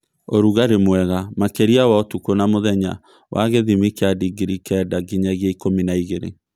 Ũrugarĩ mwega makĩria wa ũtukũ na mũthenya wa gĩthimi kĩa digrii kenda nginyagia ikũmi na igĩrĩ